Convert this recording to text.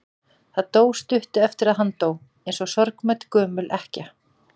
Það dó stuttu eftir að hann dó, eins og sorgmædd gömul ekkja.